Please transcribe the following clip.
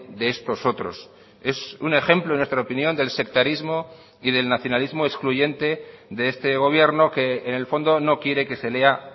de estos otros es un ejemplo en nuestra opinión del sectarismo y del nacionalismo excluyente de este gobierno que en el fondo no quiere que se lea